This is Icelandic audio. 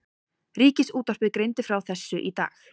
Ríkisútvarpið greindi frá þessu í dag